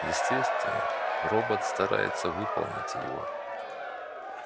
естественно робот старается выполнить его